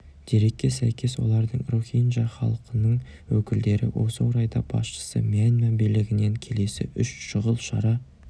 дерекке сәйкес олардың рохинджа халқының өкілдері осы орайда басшысы мьянма билігінен келесі үш шұғыл шара